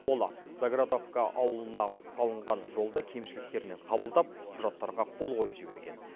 ол заградовка ауылына салынған жолды кемшіліктермен қабылдап құжаттарға қол қойып жіберген